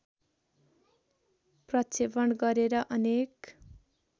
प्रक्षेपण गरेर अनेक